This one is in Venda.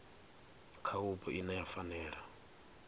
kha vhupo ine ya fanela